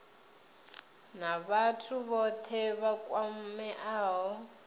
na vhathu vhothe vha kwameaho